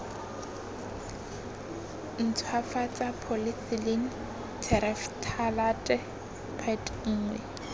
ntshwafatsa polythylene terephthalate pet nngwe